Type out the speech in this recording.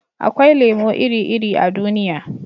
akwai lemo iri-iri a duniya